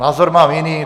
Názor mám jiný.